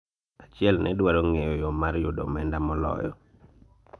achiel ne dwaro ng'eyo yoo mar yudo omenda moloyo